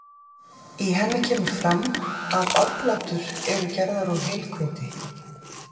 í henni kemur fram að oblátur eru gerðar úr heilhveiti